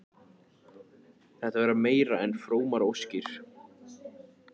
Þetta verða meira en frómar óskir.